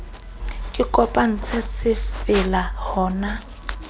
re kopantse se fella hona